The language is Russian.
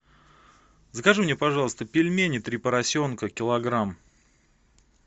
закажи мне пожалуйста пельмени три поросенка килограмм